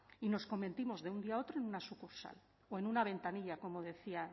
y nos convertimos de un día a otro en una sucursal o en una ventanilla como decía